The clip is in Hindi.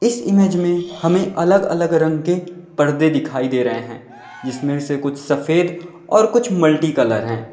इस इमेज में हमें अलग अलग रंग के पर्दे दिखाई दे रहे हैं जिसमें से कुछ सफेद और कुछ मल्टीकलर है।